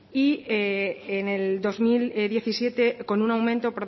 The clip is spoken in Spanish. y en el dos mil diecisiete con un aumento